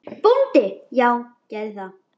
BÓNDI: Já, gerið það.